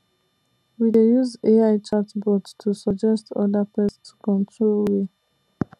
we dey use ai chatbot to suggest other pest control way